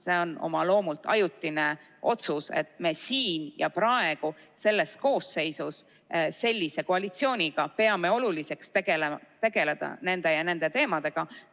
See on oma loomult ajutine otsus, et me siin ja praegu, selles koosseisus ja sellise koalitsiooniga peame oluliseks tegeleda nende ja nende teemadega.